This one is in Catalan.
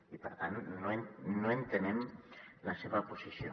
i per tant no entenem la seva posició